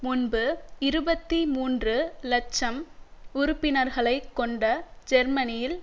முன்பு இருபத்தி மூன்று இலட்சம் உறுப்பினர்களை கொண்ட ஜெர்மனியில்